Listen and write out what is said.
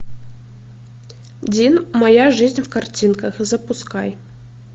дин моя жизнь в картинках запускай